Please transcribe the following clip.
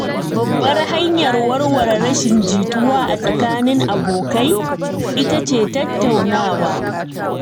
Babbar hanyar warware rashin jituwa a tsakanin abokai ita ce tattaunawa.